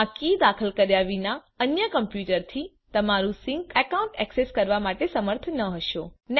તમે આ કી દાખલ કર્યા વિના અન્ય કમ્પ્યુટરથી તમારું સિંક એકાઉન્ટ ઍક્સેસ કરવા માટે સમર્થ ન હશો